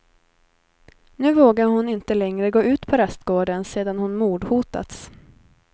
Nu vågar hon inte längre gå ut på rastgården sedan hon mordhotats.